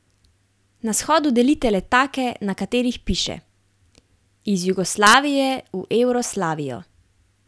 Na shodu delite letake, na katerih piše: ''Iz Jugoslavije v Evroslavijo''.